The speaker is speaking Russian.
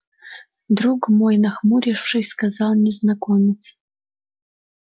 друг мой нахмурившись сказал незнакомец